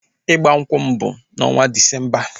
Ịgba nkwụ m bụ n'ọnwa Disemba